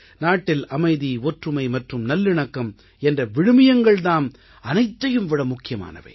நாட்டில் அமைதி ஒற்றுமை மற்றும் நல்லிணக்கம் என்ற விழுமியங்கள் தாம் அனைத்தையும் விட முக்கியமானவை